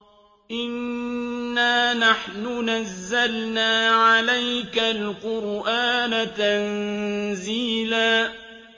إِنَّا نَحْنُ نَزَّلْنَا عَلَيْكَ الْقُرْآنَ تَنزِيلًا